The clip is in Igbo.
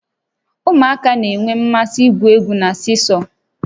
Ụmụaka na-enwe mmasị igwu egwu na siisọọ